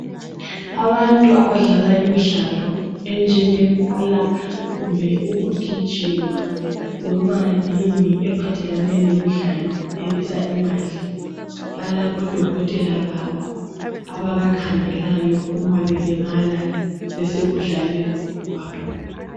Abantu abadlala imidlalo enjenge bhola kumbe yikugijima loba yini ephathelene lemidlalo ibisa imali , balabo dokotela babo ababa khangelayo uma belimala besekudlaleni kwabo .